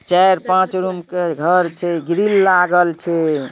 चार-पाँच रूम के घर छे ग्रील लागल छे|